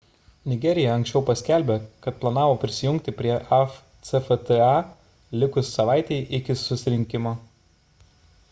nigerija anksčiau paskelbė kad planavo prisijungti prie afcfta likus savaitei iki susirinkimo